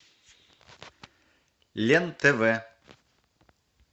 лен тв